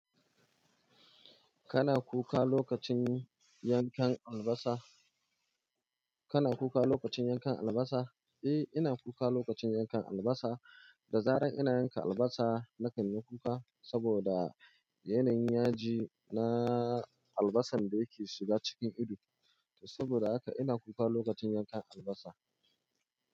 Kana kuka lokacin yankan albasa? Kana kuka lokacin yankan albasa? Eh, ina kuka lokacin yankan albasa. Da zarar ina yanka albasa, na kan yi kuka saboda yanayin yaji na albasar da yake shiga cikin ido. Saboda haka ina kuka lokacin yankan albasa.